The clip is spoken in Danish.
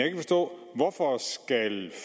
ikke forstå hvorfor